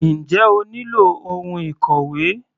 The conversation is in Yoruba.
Njẹ́ o nílò ohun ìkòwé?